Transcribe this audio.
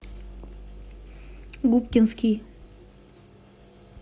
губкинский